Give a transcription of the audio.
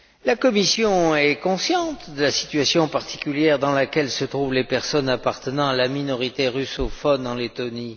La Commission est consciente de la situation particulière dans laquelle se trouvent les personnes appartenant à la minorité russophone en Lettonie.